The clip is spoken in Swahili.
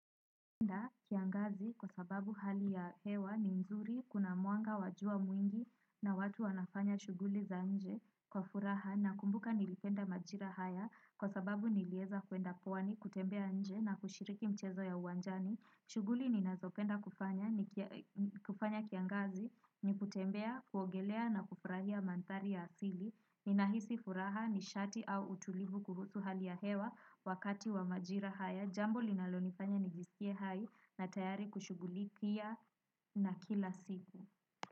Kiangazi kwa sababu hali ya hewa ni nzuri kuna mwanga wa jua mwingi na watu wanafanya shuguli za nje kwa furaha nakumbuka nilipenda majira haya kwa sababu nilieza kuenda pwani kutembea nje na kushiriki mchezo ya uwanjani. Shughuli ninazopenda kufanya, kufanya kiangazi, ni kutembea, kuogelea na kufurahia mandhari ya asili, ni nahisi furaha nishati au utulivu kuhusu hali ya hewa wakati wa majira haya, jambo linalonifanya nijisikie hai na tayari kushughulikia na kila siku.